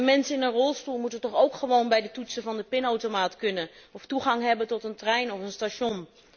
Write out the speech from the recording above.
En mensen in een rolstoel moeten toch ook gewoon bij de toetsen van de pinautomaat kunnen of toegang hebben tot een trein of station.